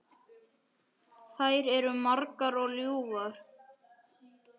Þær eru margar og ljúfar.